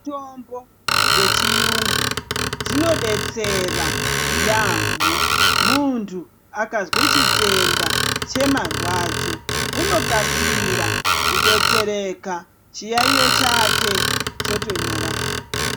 Mitombo dzechiyungu dzinodetsera yaamho, muntu akazwe chitenda chemarwadzo, unokasira kudetsereka chiyaiyo chake chotonyarara.